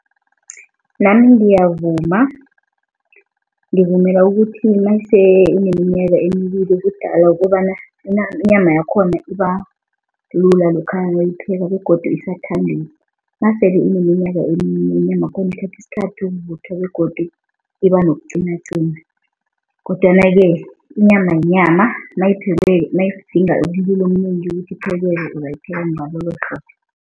Nami ngiyavuma. Ngivumela ukuthi nase ineminyaka emibili ubudala kukobana inyama yakhona ibalula lokha nawuyipheka begodu isathambile. Nase ineminyaka eminye inyamakhona ithatha isikhathi ukuvuthwa begodu ibanokuqinaqina kodwanake inyama yinyama nayiphekweko nayidinga umlilo omnengi ukuthi iphekeke uzayipheka